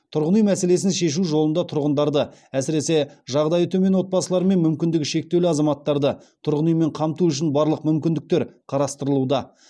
тұрғын үй мәселесін шешу жолында тұрғындарды әсіресе жағдайы төмен отбасылары мен мүмкіндігі шектеулі азаматтарды тұрғын үймен қамту үшін барлық мүмкіндіктер қарастырылуда